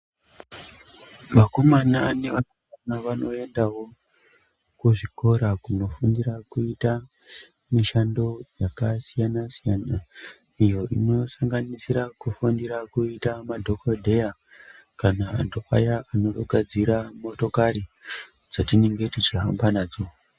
Vakovana neva sikana vanoendawo ku zvikora kuno fundira kuita mishando yaka siyana siyana iyo ino sanganisira kufundira kuita madhokodheya kana vantu aya anogadzira motokari dzatinenge tichi hamba nadzo.